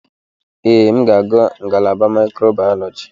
Ee, m ga-aga ngalaba microbiology.